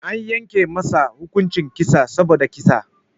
Anyanke masa hukuncin kissa saboda kissa.